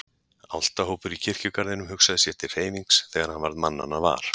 Álftahópur í kirkjugarðinum hugsaði sér til hreyfings þegar hann varð mannanna var.